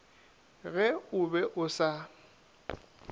ge o be o sa